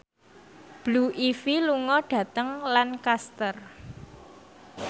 Blue Ivy lunga dhateng Lancaster